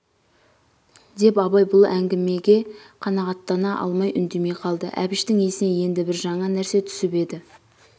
деп абай бұл әңгімеге қанағаттана алмай үндемей қалды әбіштің есіне енді бір жаңа нәрсе түсіп еді